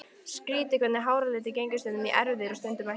Skrýtið hvernig háralitur gengur stundum í erfðir og stundum ekki.